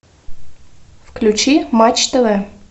включи матч тв